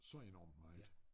Så enormt meget